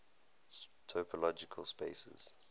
topological spaces